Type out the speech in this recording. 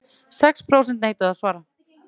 Sex prósent neituðu að svara